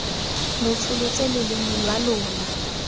lo tsholetse loleme lwa lona